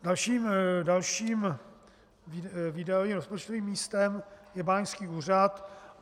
Dalším výdajovým rozpočtovým místem je báňský úřad.